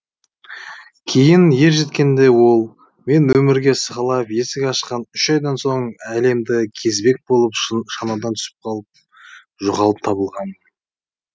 кейін ержеткенде ол мен өмірге сығалап есік ашқан үш айдан соң әлемді кезбек болып шанадан түсіп қалып жоғалып табылғанмын